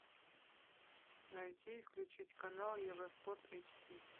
найти и включить канал евроспорт эйч ди